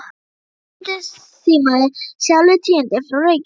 Húsbóndinn símaði sjálfur tíðindin frá Reykjavík.